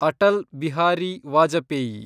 Atal Bihari Vajpayee